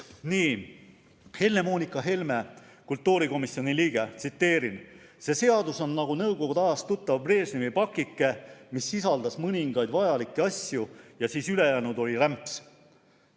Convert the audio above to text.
Tsiteerin Helle-Moonika Helmet, kultuurikomisjoni liiget: "See seadus on nagu nõukogude ajast tuttav Brežnevi pakike, mis sisaldas mõningaid vajalikke asju ja siis ülejäänu oli rämps.